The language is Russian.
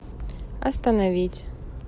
остановить